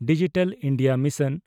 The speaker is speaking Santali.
digital India mission